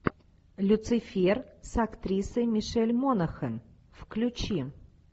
люцифер с актрисой мишель монахэн включи